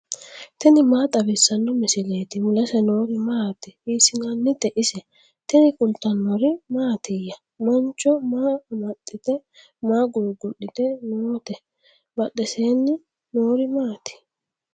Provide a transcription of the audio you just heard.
tini maa xawissanno misileeti ? mulese noori maati ? hiissinannite ise ? tini kultannori mattiya? Mancho maa amaxxitte? Maa gugu'litte nootte? Badheesenni noori maatti?